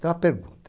Então a pergunta.